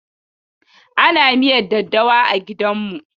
Ana miya da daddawa a gidanmu.